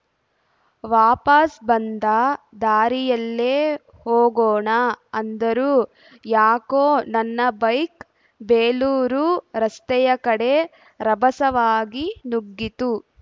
ವಾಪಸ್‌ ಬಂದ ದಾರಿಯಲ್ಲೇ ಹೋಗೋಣ ಅಂದರೂ ಯಾಕೋ ನನ್ನ ಬೈಕ್‌ ಬೇಲೂರು ರಸ್ತೆಯ ಕಡೆ ರಭಸವಾಗಿ ನುಗ್ಗಿತು